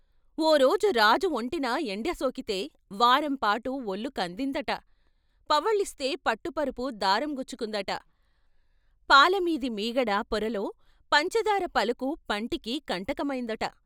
"ఓ రోజు రాజు వొంటిన ఎండసోకితే వారంపాటు వొళ్ళు కందిందట "" పవ్వళిస్తే పట్ట పరుపు దారం గుచ్చుకుందట ! పాలమీది మీగడ పొరలో పంచదార పలుకు పంటికి కంటకమైందట! "